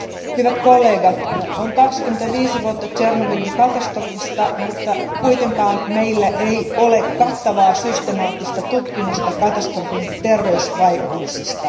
Arvoisa puhemies, hyvät kollegat, on kulunut 25 vuotta Tšernobylin katastrofista, mutta kuitenkaan meillä ei ole kattavaa systemaattista tutkimusta katastrofin terveysvaikutuksista.